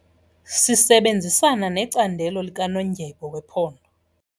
Sisebenzisana necandelo likanondyebo wephondo.